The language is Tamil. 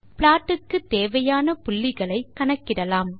ப்ளாட் க்கு தேவையான புள்ளிகளை கணக்கிடலாம்